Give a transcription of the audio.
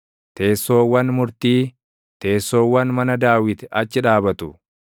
Teessoowwan murtii, teessoowwan mana Daawit achi dhaabatu.